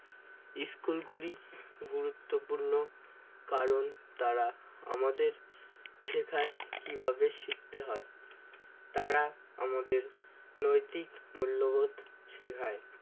school গুলি গুরুত্বপূর্ণ কারণ তারা আমাদের শেখায় কিভাবে শিখতে হয় তারা আমাদের নৈতিক মূল্যবোধ শেখায়